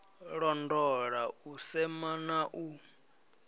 londola u sema na u